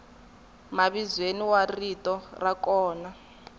mavizweni wa rito ra kona